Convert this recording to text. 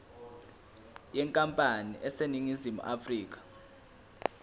yenkampani eseningizimu afrika